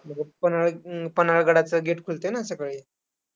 मग पन्हाळ अं पन्हाळगडाचं gate खुलतंय ना सकाळी.